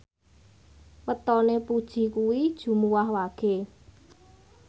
wetone Puji kuwi Jumuwah Wage